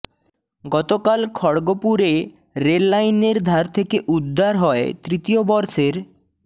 গতকাল খড়গপুরে রেল লাইনের ধার থেকে উদ্ধার হয় তৃতীয় বর্ষের